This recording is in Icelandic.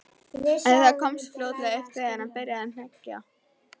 En það komst fljótlega upp þegar hann byrjaði að hneggja.